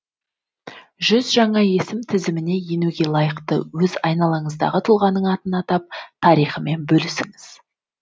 жүз жаңа есім тізіміне енуге лайықты өз айналаңыздағы тұлғаның атын атап тарихымен бөлісіңіз